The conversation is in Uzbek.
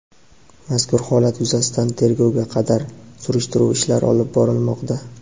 Mazkur holat yuzasidan tergovga qadar surishtiruv ishlari olib borilmoqda.